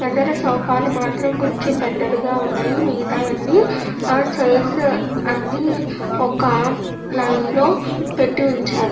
ఎదర సోఫా లు మాత్రం కొంచెం పెద్దవిగా ఉన్నాయి మిగితాయి అన్నీ చైర్స్ అన్నీ ఒక లైన్ లో పెట్టి ఉంచారు.